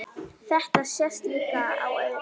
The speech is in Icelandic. Þetta sést líka á öðru.